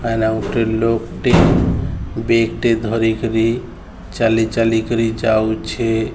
ଆଇଲା ଗୁଟେ ଲୋକ୍ ଟେ ବେଗ୍ ଟେ ଧରିକରି ଚାଲି ଚାଲି କରି ଯାଉଛେ।